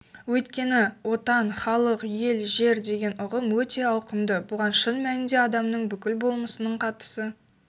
өйткені отан халық ел жер деген ұғым өте ауқымды бұған шын мәнінде адамның бүкіл болмысының қатысы